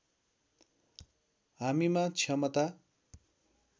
हामीमा क्षमता